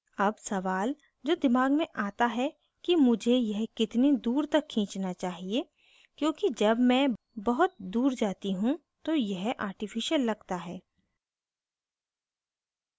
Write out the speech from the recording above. अब सवाल जो दिमाग में आता है कि मुझे यह कितनी दूर तक खींचना चाहिए क्योंकि जब मैं बहुत दूर जाती how तो यह artificial लगता है